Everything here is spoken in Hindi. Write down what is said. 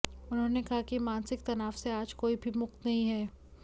उन्होंने कहा कि मानसिक तनाव से आज कोई भी मुक्त नहीं है